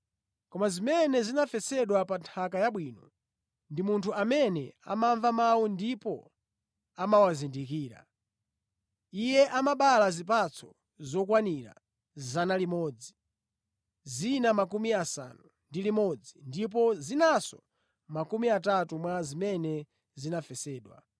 Koma zimene zinafesedwa pa nthaka yabwino, ndi munthu amene amamva mawu ndipo amawazindikira. Iye amabala zipatso zokwanira 100, zina 60 ndipo zinanso makumi atatu mwa zimene zinafesedwa.”